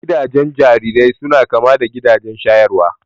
Gidajen jarirai suna kama da gidajen shayarwa